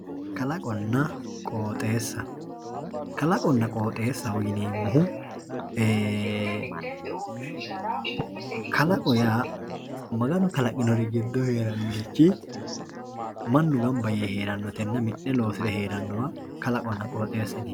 Kalaqonna qooxesa lalaqona qooxesa kalaqonna qooxessa yineemori kalaqo yaa maganu kalaqinorich heerarichi manu miteeni ganba yee mine heeranowa kalaqona qooxesaho yinani.